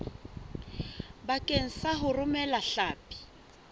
bakeng sa ho romela hlapi